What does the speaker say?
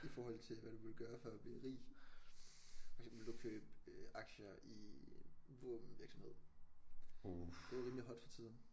I forhold til hvad du ville gøre for at blive rig for eksempel ville du købe øh aktier i en våbenvirksomhed det er rimelig hot for tiden